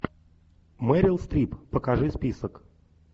мэрил стрип покажи список